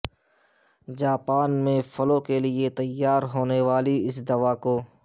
Japan میں flu کے لیے تیار ہونے والی اس دوا کو